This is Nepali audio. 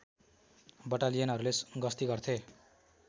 बटालियनहरूले गस्ती गर्थे